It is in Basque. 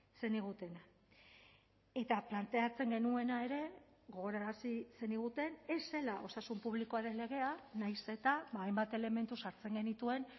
zenigutena eta planteatzen genuena ere gogorarazi zeniguten ez zela osasun publikoaren legea nahiz eta hainbat elementu sartzen genituen